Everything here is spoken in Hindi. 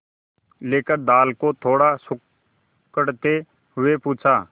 लेकर दाल को थोड़ा सुड़कते हुए पूछा